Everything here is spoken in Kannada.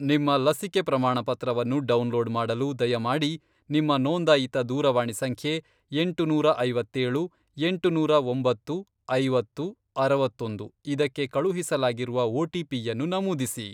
ನಿಮ್ಮ ಲಸಿಕೆ ಪ್ರಮಾಣಪತ್ರವನ್ನು ಡೌನ್ಲೋಡ್ ಮಾಡಲು ದಯಮಾಡಿ ನಿಮ್ಮ ನೋಂದಾಯಿತ ದೂರವಾಣಿ ಸಂಖ್ಯೆ , ಎಂಟುನೂರಾ ಐವತ್ತೇಳು ,ಎಂಟುನೂರಾ ಒಂಬತ್ತು ,ಐವತ್ತು , ಅರವತ್ತೊಂದು, ಇದಕ್ಕೆ ಕಳುಹಿಸಲಾಗಿರುವ ಒಟಿಪಿಯನ್ನು ನಮೂದಿಸಿ.